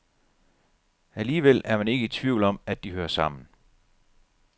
Alligevel er man ikke i tvivl om, at de hører sammen.